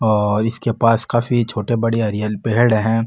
और इसके पास काफी छोटा बड़ा हरियाली पेड़ है।